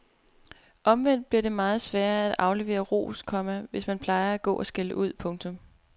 Omvendt bliver det meget sværere at aflevere ros, komma hvis man plejer at gå og skælde ud. punktum